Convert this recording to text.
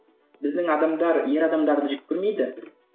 біздің адамдар ер адамдарды жек көрмейді